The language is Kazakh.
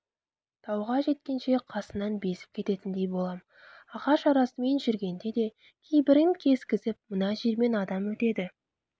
тауға жеткенше қасынан безіп кететіндей болам ағаш арасымен жүргенде де кейбірін кескізіп мына жермен адам өтеді